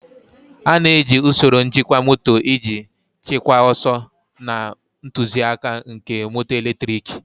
A na-eji usoro njikwa moto iji chịkwaa ọsọ na ntụzịaka nke moto eletriki.